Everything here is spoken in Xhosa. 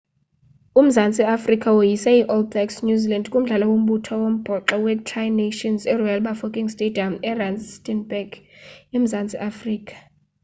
umzantsi afrika woyise i-all blacks new zealand kumdlalo wombutho wombhoxo wetri nations eroyal bafokeng stadium erustenburg emzantsi afrika